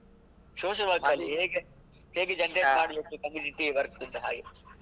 Social work ಹೇಗೆ ಹೇಗೆ generate ಮಾಡ್ಬೇಕು community work ಅಂತ ಹಾಗೆ.